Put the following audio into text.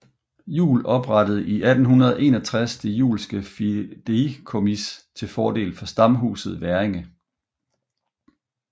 Juel oprettede 1861 Det Juelske Fideikommis til fordel for stamhuset Hverringe